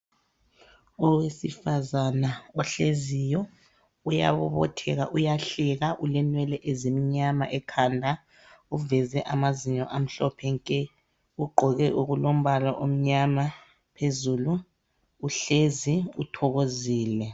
Owesifazana ohleziyo, uyabobotheka, uyahleka. Ulenwele ezimnyama ekhanda. Uveze amazinyo amhlophe nke! Ugqoke okulombala omnyama phezulu. Uhlezi, uthokozile.